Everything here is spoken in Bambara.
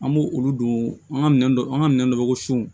An b'o olu don an ka minɛn dɔ an ka minɛn dɔ ko sun